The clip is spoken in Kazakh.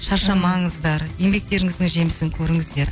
шаршамаңыздар еңбектеріңіздің жемісін көріңіздер